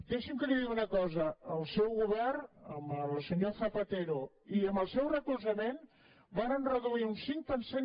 deixi’m que li digui una cosa el seu govern amb el senyor zapatero i amb el seu recolzament varen redu·ir un cinc per cent